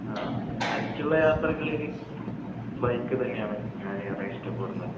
ആഹ് തനിച്ചുള്ള യാത്രകളിൽ ബൈക്ക് തന്നെയാണ് ഞാൻ ഏറെ ഇഷ്ടപ്പെടുന്നത്